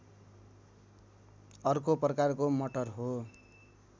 अर्को प्रकारको मटर हो